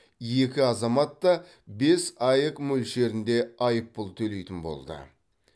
екі азамат та бес аек мөлшерінде айыппұл төлейтін болды